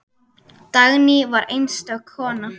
Dagný var einstök kona.